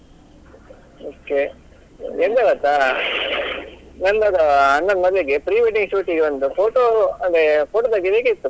Okay ಎಂತ ಗೊತ್ತಾ ನನ್ನದು ಅಣ್ಣನ್ ಮದುವೆಗೆ pre wedding shoot ಗೆ ಒಂದು photo ಅದೇ photo ತೆಗಿಬೇಕಿತ್ತು.